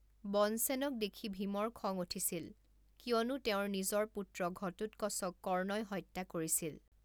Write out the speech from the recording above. বনসেনক দেখি ভীমৰ খং উঠিছিল কিয়নো তেওঁৰ নিজৰ পুত্ৰ ঘটোৎকচক কৰ্ণই হত্যা কৰিছিল।